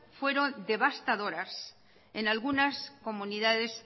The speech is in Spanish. fueron devastadoras en algunas comunidades